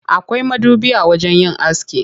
Akwai madubi a wajen yin aski.